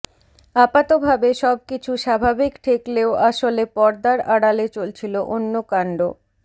আপাতভাবে সবকিছু স্বাভাবিক ঠেকলেও আসলে পর্দার আড়ালে চলছিল অন্য কাণ্ড